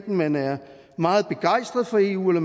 man er meget begejstret for eu eller